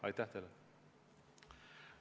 Aitäh!